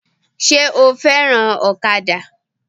Sé o fẹ́ràn ọ̀kadà?